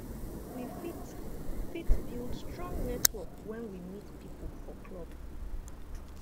we fit fit build strong network when we meet pipo for club